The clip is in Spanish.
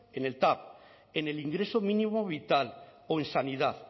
en el tav en el ingreso mínimo vital o en sanidad